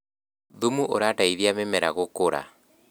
thumu ũrateithia mĩmera gũkũra